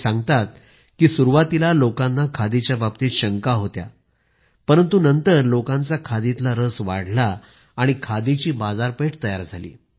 ते सांगतात की सुरूवातीला लोकांना खादीच्या बाबतीत शंका होत्या परंतु नंतर लोकांचा खादीतला रस वाढला आणि खादीची बाजारपेठ तयार झाली